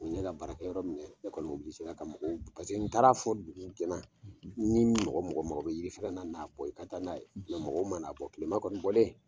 Ne ka baarakɛ yɔrɔ mumɛ, ne kɔni ka mɔgɔw paseke n taar'a fɔ dugu ɲana ni mɔgɔ o mɔgɔ bɛ yiri n'a bɔ i ka taa n'a ye , nka mɔgɔ ma n'a bɔ tilema kɔnɔn kɔni